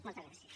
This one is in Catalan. moltes gràcies